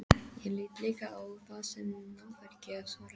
Ég lít líka á það sem náðargjöf, svarar Edda.